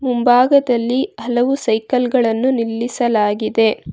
ಮುಂಭಾಗದಲ್ಲಿ ಹಲವು ಸೈಕಲ್ ಗಳನ್ನು ನಿಲ್ಲಿಸಲಾಗಿದೆ.